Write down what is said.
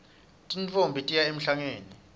tintfombi tiya emhlangeni